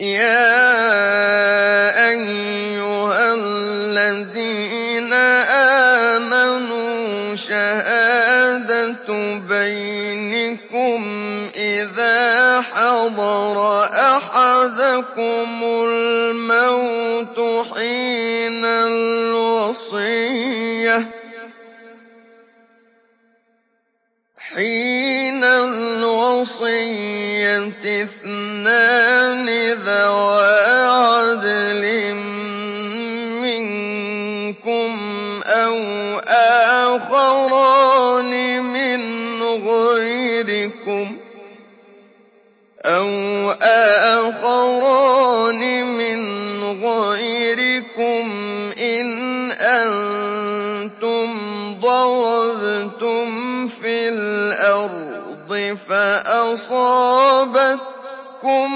يَا أَيُّهَا الَّذِينَ آمَنُوا شَهَادَةُ بَيْنِكُمْ إِذَا حَضَرَ أَحَدَكُمُ الْمَوْتُ حِينَ الْوَصِيَّةِ اثْنَانِ ذَوَا عَدْلٍ مِّنكُمْ أَوْ آخَرَانِ مِنْ غَيْرِكُمْ إِنْ أَنتُمْ ضَرَبْتُمْ فِي الْأَرْضِ فَأَصَابَتْكُم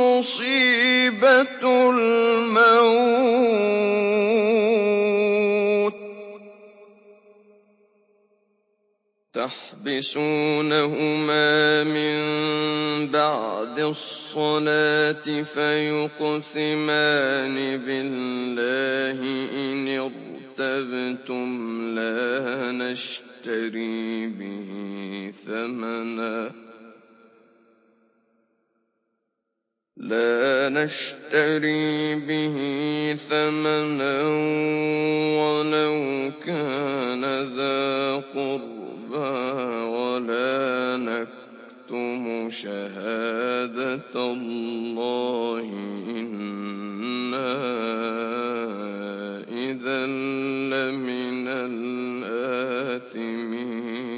مُّصِيبَةُ الْمَوْتِ ۚ تَحْبِسُونَهُمَا مِن بَعْدِ الصَّلَاةِ فَيُقْسِمَانِ بِاللَّهِ إِنِ ارْتَبْتُمْ لَا نَشْتَرِي بِهِ ثَمَنًا وَلَوْ كَانَ ذَا قُرْبَىٰ ۙ وَلَا نَكْتُمُ شَهَادَةَ اللَّهِ إِنَّا إِذًا لَّمِنَ الْآثِمِينَ